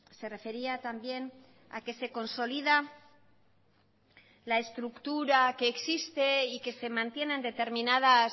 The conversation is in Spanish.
se refería también a que se consolida la estructura que existe y que se mantiene en